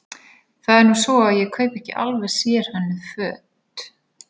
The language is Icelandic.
Það er nú svo að ég kaupi ekki alveg sérhönnuð föt.